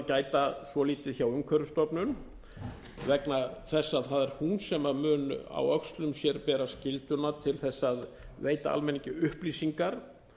gæta svolítið hjá umhverfisstofnun vegna þess að það er hún sem mun á öxlum sér bera skylduna til þess að veita almenningi upplýsingar